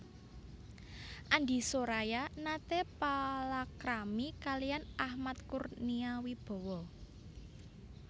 Andi Soraya nate palakrami kaliyan Ahmad Kurnia Wibawa